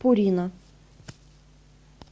пурина